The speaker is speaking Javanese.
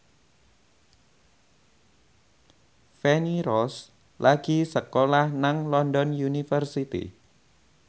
Feni Rose lagi sekolah nang London University